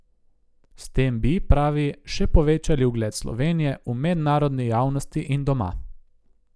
S tem bi, pravi, še povečali ugled Slovenije v mednarodni javnosti in doma.